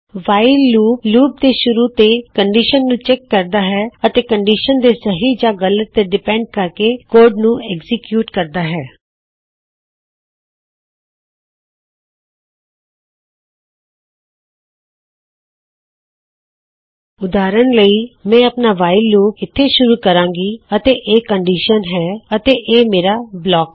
while loop ਦੇ ਸ਼ੁਰੁ ਵਿਚ ਇਕ ਕਨਡੀਸਨ ਨੂ ਚੈਕ ਕਰਦਾ ਹੈ ਤੇ ਕਨਡੀਸ਼ਨ ਦੇ ਸਹੀ ਯਾ ਗਲਤ ਤੇ ਨਿਰਭਰ ਕੋਡ ਨੂ ਏਕਜੀਕਯੂਟ ਕਰਦਾ ਹੈ ਉਦਾਹਰਨ ਲਈ ਮੈਂ ਆਪਣਾ ਵਾਇਲ ਲੂਪ ਇਥੇ ਸ਼ੁਰੂ ਕਰੂੰਗਾ ਅਤੇ ਇਹ ਹੈ ਕੰਨਡਿਸ਼ਨ ਅਤੇ ਇਹ ਹੈ ਮੇਰਾ ਬਲਾਕ